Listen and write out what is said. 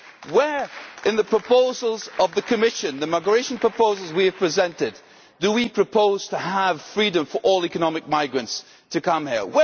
Where in the proposals of the Commission, the migration proposals that we have presented, do we propose to have freedom for all economic migrants to come here?